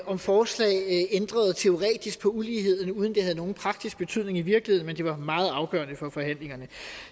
om forslag ændrede teoretisk på uligheden uden det havde nogen praktisk betydning i virkeligheden men det var meget afgørende for forhandlingerne